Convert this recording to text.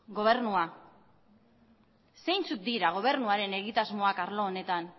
gobernua zeintzuk dira gobernuaren egitasmoak arlo honetan